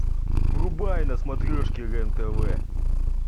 врубай на смотрешке рен тв